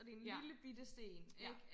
ja ja